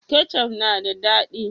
Kecaf na da dadi